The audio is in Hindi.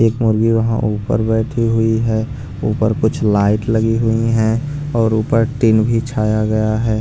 एक मुर्गी वहाँ ऊपर बैठी हुई है ऊपर कुछ लाइट लगी हुई हैं और ऊपर टिन भी छाया गया है।